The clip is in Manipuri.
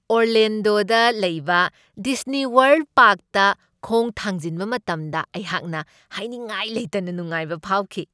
ꯑꯣꯔꯂꯦꯟꯗꯣꯗ ꯂꯩꯕ ꯗꯤꯁꯅꯤꯋꯥꯔꯜ꯭ꯗ ꯄꯥꯔꯛꯇ ꯈꯣꯡ ꯊꯥꯡꯖꯤꯟꯕ ꯃꯇꯝꯗ ꯑꯩꯍꯥꯛꯅ ꯍꯥꯏꯅꯤꯡꯉꯥꯏ ꯂꯩꯇꯅ ꯅꯨꯡꯉꯥꯏꯕ ꯐꯥꯎꯈꯤ ꯫